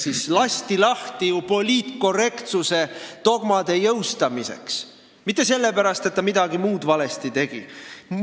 Ta lasti lahti poliitkorrektsuse dogmade jõustamiseks, mitte sellepärast, et ta midagi muud valesti tegi.